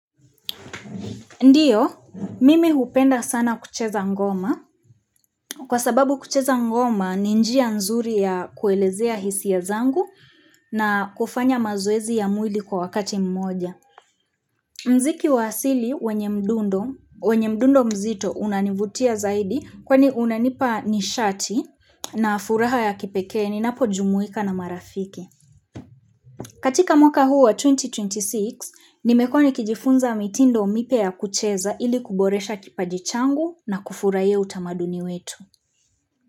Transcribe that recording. Ndio, mimi hupenda sana kucheza ngoma. Kwa sababu kucheza ngoma, ni njia nzuri ya kuelezea hisia zangu na kufanya mazoezi ya mwili kwa wakati mmoja. Mziki wa asili wenye mdundo mzito unanivutia zaidi kwani unanipa nishati na furaha ya kipekee, ninapojumuika na marafiki. Katika mwaka huu wa 2026, nimekuwa ni kijifunza mitindo mipya ya kucheza ili kuboresha kipajichangu na kufurahia utamaduni wetu.